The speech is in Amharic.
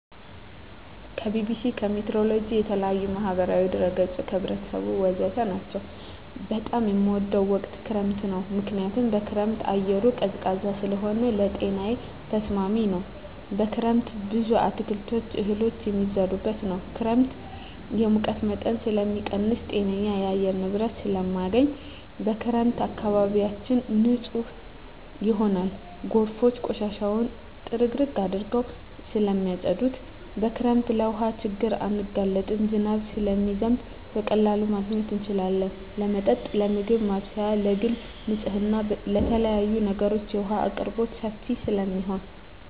ከቢቢሲ, ከሜትሮሎጅ, ከተለያዪ የማህበራዊ ድረ ገፆች , ከህብረተሰቡ ወዘተ ናቸው። በጣም የምወደው ወቅት ክረምት ነው ምክንያቱም በክረምት አየሩ ቀዝቃዛ ስለሆነ ለጤናዬ ተስማሚ ነው። በክረምት ብዙ አትክልቶች እህሎች የሚዘሩበት ነው። ክረምት የሙቀት መጠንን ስለሚቀንስ ጤነኛ የአየር ንብረት ስለማገኝ። በክረምት አካባቢያችን ንፁህ ይሆናል ጎርፎች ቆሻሻውን ጥርግርግ አድርገው ስለማፀዱት። በክረምት ለውሀ ችግር አንጋለጥም ዝናብ ስለሚዘንብ በቀላሉ ማግኘት እንችላለን ለመጠጥ ለምግብ ማብሰያ ለግል ንፅህና ለተለያዪ ነገሮች የውሀ አቅርቦት ሰፊ ስለሚሆን።